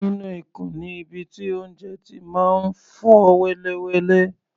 Inú ikùn ni ibi tí oúnjẹ ti máa ń fọ́ wẹ́lẹwẹ̀lẹ.